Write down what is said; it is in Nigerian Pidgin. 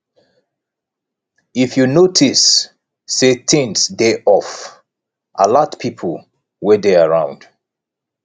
if you notice sey things dey off alert pipo wey dey around